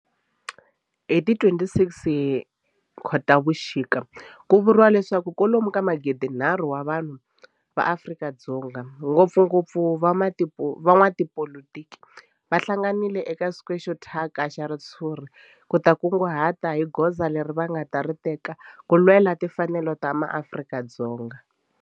Hi ti 26 Khotavuxika ku vuriwa leswaku kwalomu ka magidinharhu wa vanhu va Afrika-Dzonga, ngopfungopfu van'watipolitiki va hlanganile eka square xo thyaka xa ritshuri ku ta kunguhata hi goza leri va nga ta ri teka ku lwela timfanelo ta maAfrika-Dzonga.